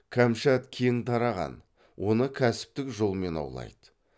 кәмшат кең тараған оны кәсіптік жолмен аулайды